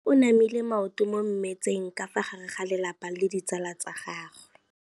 Mme o namile maoto mo mmetseng ka fa gare ga lelapa le ditsala tsa gagwe.